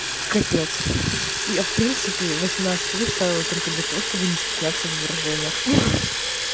капец я в принципе восемнадцать плюс ставила только для того чтобы не стесняться в выражениях ха-ха